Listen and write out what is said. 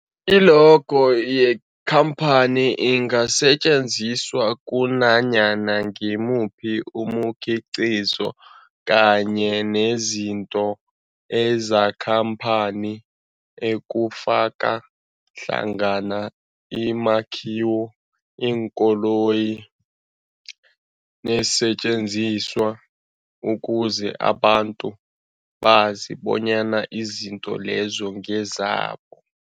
I-logo yekhamphani ingasetjenziswa kunanyana ngimuphi umkhiqizo kanye nezinto zekhamphani okufaka hlangana imakhiwo, iinkoloyi neesentjenziswa ukuze abantu bazi bonyana izinto lezo ngezabo.